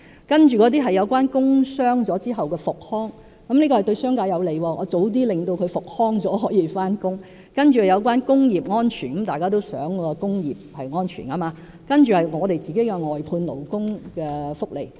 接着是工傷後的復康服務，這是對商界有利的，僱員及早復康便可以上班；另外是工業安全方面，大家也希望工業是安全的；還有政府外判勞工的福利。